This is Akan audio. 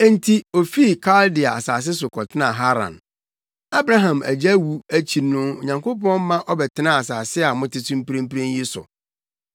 “Enti ofii Kaldea asase so kɔtenaa Haran. Abraham agya wu akyi no Onyankopɔn ma ɔbɛtenaa asase a mote so mprempren yi so.